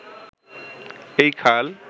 এই খাল